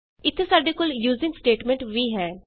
ਇਥੇ ਸਾਡੇ ਕੋਲ ਯੂਜ਼ੀਂਗ ਸਟੇਟਮੈਂਟ ਵੀ ਹੈ